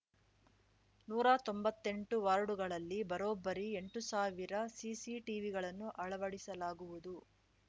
ನೂರಾ ತೊಂಬತ್ತೆಂಟು ವಾರ್ಡುಗಳಲ್ಲಿ ಬರೋಬ್ಬರಿ ಎಂಟು ಸಾವಿರ ಸಿಸಿ ಟಿವಿಗಳನ್ನು ಅಳವಡಿಸಲಾಗುವುದು